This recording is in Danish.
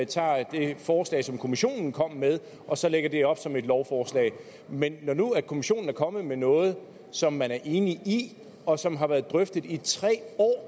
tager det forslag som kommissionen kom med og så lægger det op som et lovforslag men når nu kommissionen er kommet med noget som man er enig i og som har været drøftet i tre år